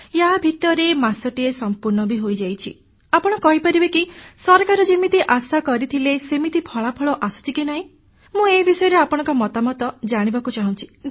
ୟା ଭିତରେ ମାସଟିଏ ସମ୍ପୂର୍ଣ୍ଣ ହୋଇଛି ଆପଣ କହିପାରିବେ କି ସରକାର ଯେମିତି ଆଶା କରିଥିଲେ ସେମିତି ଫଳାଫଳ ଆସୁଛି କି ନାହିଁ ମୁଁ ଏ ବିଷୟରେ ଆପଣଙ୍କ ମତାମତ ଜାଣିବାକୁ ଚାହୁଁଛି